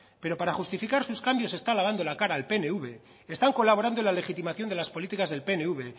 pero para justificar sus cambios está lavando la cara al pnv están colaborando en la legitimación de las políticas del pnv